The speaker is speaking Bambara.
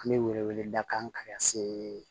An bɛ wele wele da kan ka se